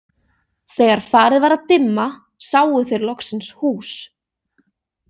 Þegar farið var að dimma sáu þeir loksins hús.